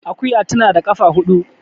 Akuya tana da kafa hudu